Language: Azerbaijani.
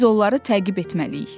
Biz onları təqib etməliyik.